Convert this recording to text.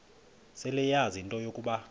seleyazi into yokuba